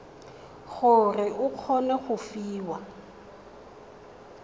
gore o kgone go fiwa